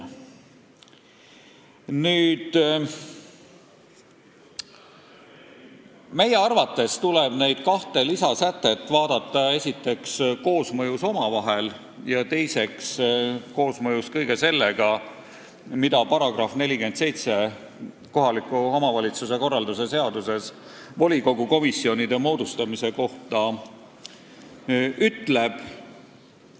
Meie arvates tuleb neid kahte lisasätet vaadata esiteks omavahelises koosmõjus ja teiseks koosmõjus kõige sellega, mida kohaliku omavalitsuse korralduse seaduse § 47 volikogu komisjonide moodustamise kohta ütleb.